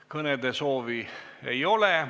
Kõnesoovi ei ole.